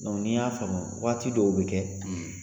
ni y'a faamu waati dɔw bɛ kɛ